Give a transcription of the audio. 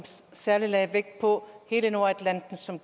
særlig lagde vægt på hele nordatlanten som